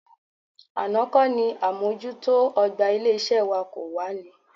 Àná kọ́ ni àmójútó ọ̀gbà ilé-iṣẹ́ wa kò wá ní?